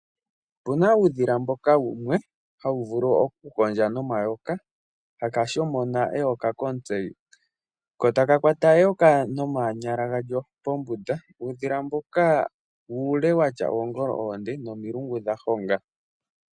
Opu na uudhila mboka wumwe hawu vulu okukondja nomayoka, haka shomona eyoka komutse, ko taka kwata eyoka nomanyala galyo pombunda. Uudhila mboka uule watya oongolo oonde nomilungu dha honga.